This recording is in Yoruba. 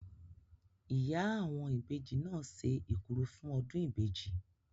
Ìyá àwọn ìbejì náà se ekuru fún ọdún ìbejì.